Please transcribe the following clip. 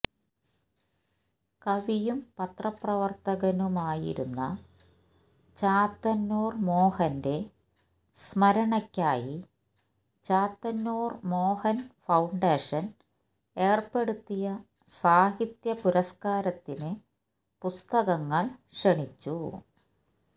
കവിയും പത്രപ്രവർത്തകനുമായിരുന്ന ചാത്തന്നൂർ മോഹന്റെ സ്മരണയ്ക്കായി ചാത്തന്നൂർ മോഹൻ ഫൌണ്ടേഷൻ ഏർപ്പെടുത്തിയ സാഹിത്യ പുരസ്കാരത്തിന് പുസ്തകങ്ങൾ ക്ഷണിച്ചു